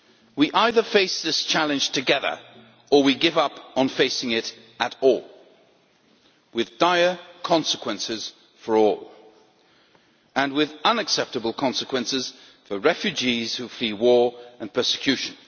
We either face this challenge together, or we give up on facing it at all, with dire consequences for all and with unacceptable consequences for refugees who flee war and persecution.